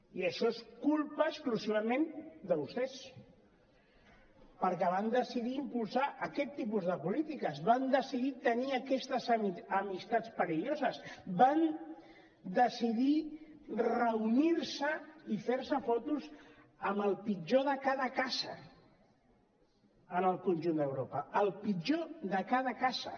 i això és culpa exclusivament de vostès perquè van decidir impulsar aquest tipus de polítiques van decidir tenir aquestes amistats perilloses van decidir reunir se i fer se fotos amb el pitjor de cada casa en el conjunt d’europa el pitjor de cada casa